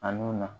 A nun na